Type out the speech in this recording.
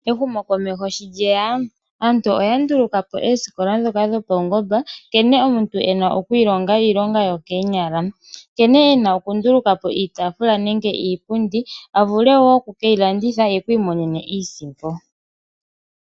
Ehumo komeho shi lyeya, aantu oya nduluka po oosikola ndhoka paungomba, nkene omuntu ena okwiilonga iilonga yo keenyala, nkene ena okundulukapo iitafula nenge iipundi avule woo oku keilanditha ye iimonene iisimpo.